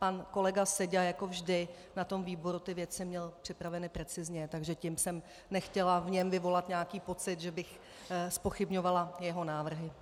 Pan kolega Seďa jako vždy na tom výboru ty věci měl připraveny precizně, takže tím jsem nechtěla v něm vyvolat nějaký pocit, že bych zpochybňovala jeho návrhy.